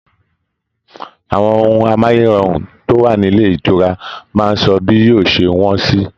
Àwọn ohùn amáyérọrùn to wa nílé ìtura máa n sọ bí yóò ṣe wọn sì.